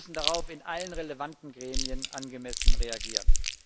Wir müssen darauf in allen relevanten Gremien angemessen reagieren.